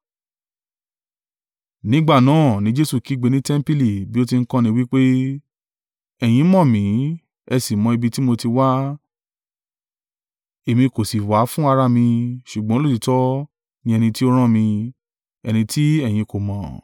Nígbà náà ni Jesu kígbe ní tẹmpili bí ó ti ń kọ́ni, wí pé, “Ẹ̀yin mọ̀ mí, ẹ sì mọ ibi tí mo ti wá, èmi kò sì wá fún ara mi, ṣùgbọ́n olóòtítọ́ ni ẹni tí ó rán mi, ẹni tí ẹ̀yin kò mọ̀.